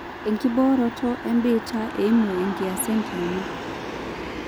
enkibooroto ebiitia eimu enkias ekiama